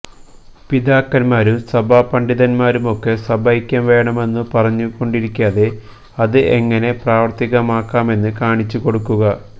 പിതാക്കന്മാരും സഭാ പണ്ഡിതന്മാരുമൊക്കെ സഭൈക്യം വേണമെന്നു പറഞ്ഞു കൊണ്ടിരിക്കാതെ അത് എങ്ങനെ പ്രാവര്ത്തികമാക്കാമെന്ന് കാണിച്ചു കൊടുക്കുക